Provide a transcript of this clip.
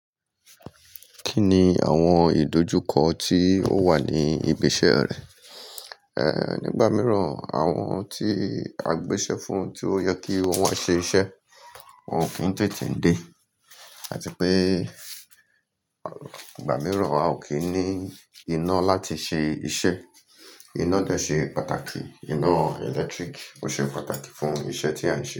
Kí ni àwọn ìdojúkọ tí ó wà ní ibi iṣẹ́ rẹ? Ehn, nígbà mìíràn àwọn tí a gbéṣẹ́ fún tí ó yẹ kí wọ́n wọn ṣe iṣẹ́ wọn ò kí ń tètè dé àti pé igbà míìràn a ò kí ń ní iná láti ṣe iṣẹ́. Iná dẹ́ ṣe pàtàkì, iná ẹ̀lẹ́tíríkì ó ṣe pàtàkì fún iṣẹ́ tí à ń ṣe.